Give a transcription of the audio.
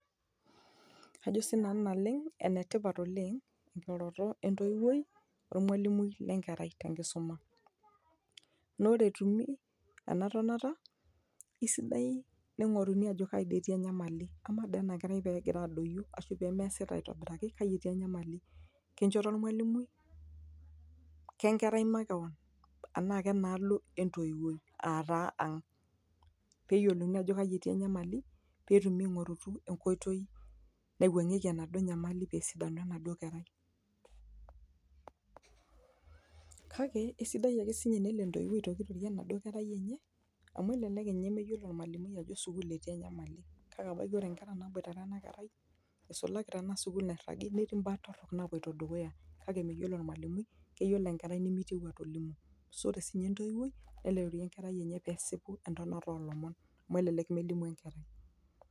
Ajo si nanu naleng enetipat ekiroroto etoiwuoi ormalimui le nkerai te nkisuma, Naa ore etumi ena tonata isidai ningoruni ajo kaji etii enyamali, ama doi ena kerai pee egira adoyio aashu pee meesita aitobiraki kaji etii enyamali? Kenchoto ormalimui ? ke nkerai makewan? Anaa kenaalo entowuoi ataa ang? Pee yiolouni ajo kaji etii enyamali, pee etumi aingoru enkootoi naiwengieki enaduo nyamali pee esidanu enaduo kerai. Kake eisidai ake teno si ninye etoiuoi aitoki Ore doi ninye enedukuya ayiolou amu, elelk doi meyiolo ninye ormalimui enetii enyamali amu ore nkera naboitare enaduo kerai eisulaki ena sukuul nairagi eidim netii mbaa torok naapoito dukuya kake meyiolo ormalimui keyiolo enkerai nemeitio atoliki nkulie, neaku ore si ninye entoiuoi neliki enkerai enye pee esipu entonata oolomon amu elelek meidimu lomon.